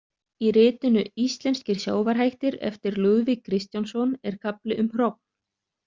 Í ritinu Íslenskir sjávarhættir eftir Lúðvík Kristjánsson er kafli um hrogn.